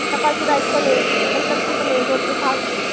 सकाळची बॅच पण ये नंतरची पण ये दोन ते सहाची